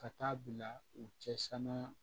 Ka taa bila u cɛsiran